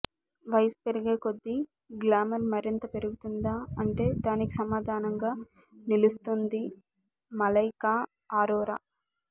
వయసు పెరిగే కొద్దీ గ్లామర్ మరింత పెరుగుతుందా అంటే దానికి సమాధానంగా నిలుస్తోంది మలైకా అరోరా